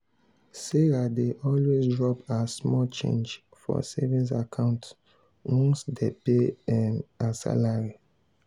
sarah dey always drop her small change for savings account once dem pay um her salary.